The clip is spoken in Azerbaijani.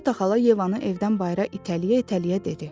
Qreta xala Yevanı evdən bayıra itələyə-itələyə dedi.